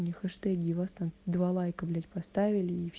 хэштеги вас там два лайка блять поставили и все